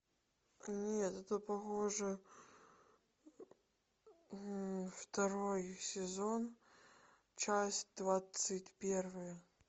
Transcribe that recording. нет это похоже второй сезон часть двадцать первая